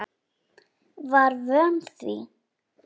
Var vön því.